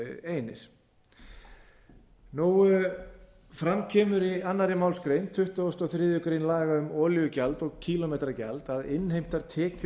einir fram kemur í annarri málsgrein tuttugustu og þriðju grein laga um olíugjald og kílómetragjald að innheimtar tekjur